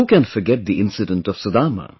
Who can forget the incident of Sudama